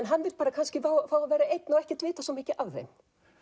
hann vill kannski fá að vera einn og ekki vita mikið af þeim